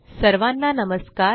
सर्वाना नमस्कार